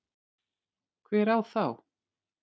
Hver á þá.